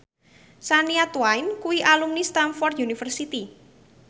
Shania Twain kuwi alumni Stamford University